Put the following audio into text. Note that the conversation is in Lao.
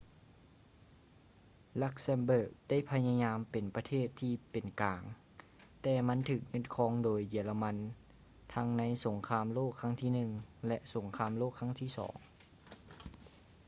luxembourg ໄດ້ພະຍາຍາມເປັນປະເທດທີ່ເປັນກາງ ແຕ່ມັນຖືກຍຶດຄອງໂດຍເຢຍລະມັນທັງໃນສົງຄາມໂລກຄັ້ງທີໜຶ່ງ ແລະ ສົງຄາມໂລກຄັ້ງທີສອງ